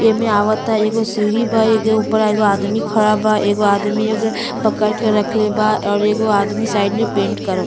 एमे अवता एगो सीढ़ी बा। एके उपरा एगो आदमी खड़ा बा। एगो आदमी पकड़ के रखले बा और एगो आदमी साइड में पेंट करता --